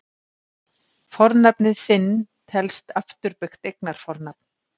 Fornafnið sinn telst afturbeygt eignarfornafn.